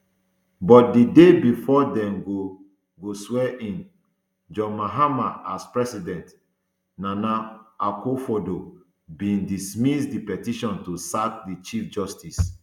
but di day bifor dem go go swearin john mahama as president nana akufoaddo bin dismiss di petition to sack di chief justice